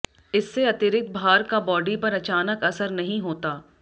इससे अतिरिक्त भार का बॉडी पर अचानक असर नहीं होता